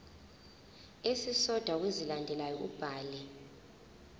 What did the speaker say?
esisodwa kwezilandelayo ubhale